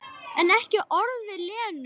En ekki orð við Lenu.